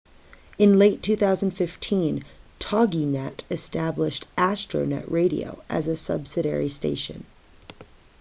in late 2015 toginet established astronet radio as a subsidiary station